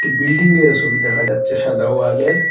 একটি বিল্ডিংয়েরও ছবি দেখা যাচ্ছে সাদা ওয়ালের।